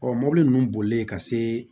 Ɔ mobili ninnu boli ka se